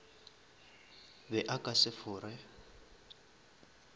be a ka se fore